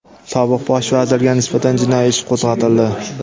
Sobiq Bosh vazirga nisbatan jinoiy ish qo‘zg‘atildi.